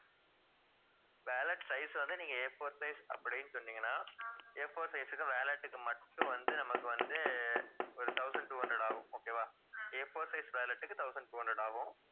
wallet size வந்து நீங்க A4 size அப்படின்னு சொன்னீங்கன்னா A4 size உக்கும் wallet உக்கு மட்டும் வந்து நமக்கு வந்து ஒரு thousand two hundred ஆகும் okay வா A4 size wallet உக்கு thousand two hundred ஆகும்